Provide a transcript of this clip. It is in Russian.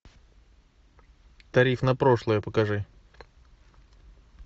тариф на прошлое покажи